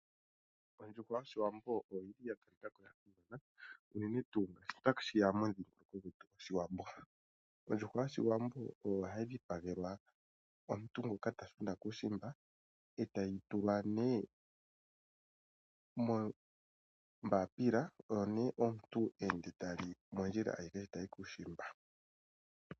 Ondjuhwa yOshiwambo oyi li ya simana koshigwana unene tuu ngele otashi ya momudhingoloko gwetu gOshiwambo. Ondjuhwa yOshiwambo oyo hayi dhipagelwa omuntu ngoka ta shuna kuushimba e tayi tulwa nee mombaapila, oyo nee omuntu he ende ta li mondjila ayihe ta yi kuushimba.